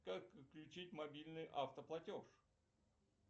как отключить мобильный автоплатеж